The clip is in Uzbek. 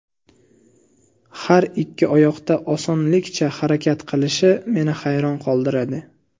Har ikki oyoqda osonlikcha harakat qilishi meni hayron qoldiradi.